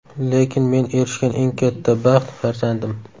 Lekin men erishgan eng katta baxt farzandim.